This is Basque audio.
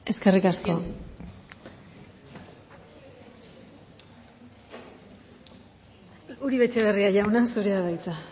eskerrik asko uribe etxebarria jauna zurea da hitza